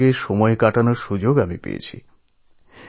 বোনেদের সঙ্গে সাক্ষাতের সুযোগ হয়েছিল